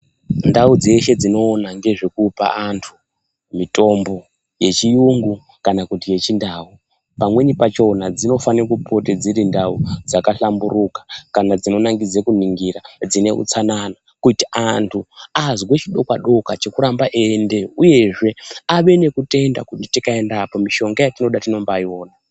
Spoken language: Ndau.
Ndau dzeshe dzinoona ngezvekupa antu mitombo yechiyungu kana kuti yechiNdau pamweni pachona dzinofane kupota dziri ndau dzakahlamburuka kana dzinonakidze kuningira, dzine utsanana kuti antu azwe chidokwa-dokwa chekuramba eiendeyo, uyezve vave nekutenda kuti tikaendako mishonga yatinoda tinombaiona.